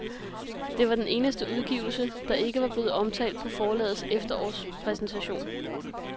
Det var den eneste udgivelse, der ikke blev omtalt på forlagets efterårspræsentation.